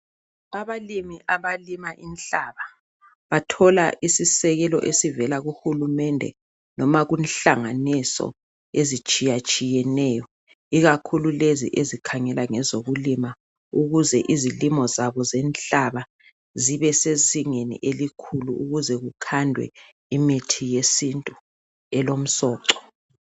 Abalimi abalima inhlaba. Bathola isisekelo esivela kuhulumende. Noba kunhlanganiso, ezitshiyatshiyeneyo. Ikakhulu lezi ezikhangela ngezokulima. Ukuze izilimo zabo zenhlaba, zibesezingeni eliphezulu. Ukuze kukhandwe imithi yesintu elomsoco.